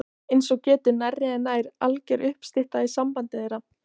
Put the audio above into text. Eins og getur nærri er nær alger uppstytta í sambandi þeirra